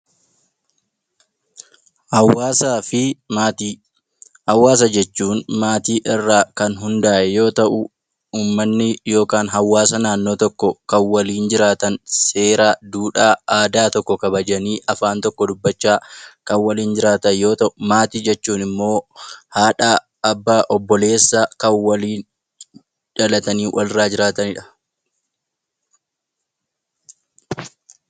Haawaasaa fi maatii Hawaasa jechuun maatii irraa hundaa'e yoo ta'u, uummanni yookaan hawaasa naannoo tokkoo kan waliin jiraatan, seera, duudhaa, aadaa tokko kabajanii afaan tokko dubbachaa waliin jiraatan yoo ta'u, maatii jechuun immoo haadha, abbaa obboleessa kan waliin dhalatanii walirraa jiraatanidha.